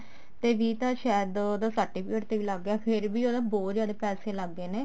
ਤੇ ਵੀਹ ਤਾਂ ਸ਼ਾਇਦ ਉਹਦਾ certificate ਤੇ ਵੀ ਲੱਗ ਗਿਆ ਫ਼ੇਰ ਵੀ ਉਹਦੇ ਬਹੁਤ ਜਿਆਦਾ ਪੈਸੇ ਲੱਗ ਗਏ ਨੇ